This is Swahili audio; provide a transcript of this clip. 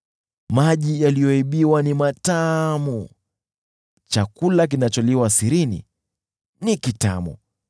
“Maji yaliyoibiwa ni matamu; chakula kinacholiwa sirini ni kitamu!”